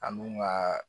An dun ka